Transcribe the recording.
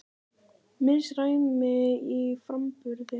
Misræmi í framburði